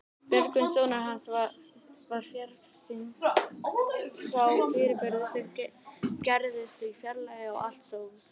Björgvin sonur hans var fjarskyggn, sá fyrirburði sem gerðust í fjarlægð og allt stóðst.